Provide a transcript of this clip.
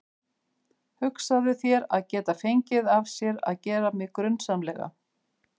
Hugsaðu þér að geta fengið af sér að gera mig grunsamlega.